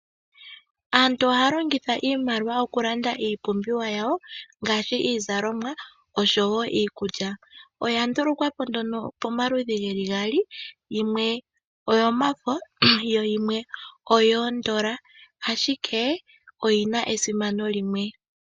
Aantu ohaya longitha iimaliwa okulanda iipumbiwa yawo ngaashi iizalomwa oshowo iikulya oya ndulukwa po nduno pomaludhi geli gaali yimwe oyomafo yo yimwe oyoondola ashike oyina esimano limwe.